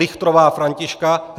Richtrová Františka